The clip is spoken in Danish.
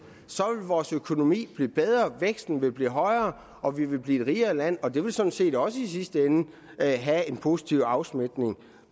vil vores økonomi blive bedre væksten vil blive højere og vi vil blive et rigere land og det vil sådan set også i sidste ende have en positiv afsmitning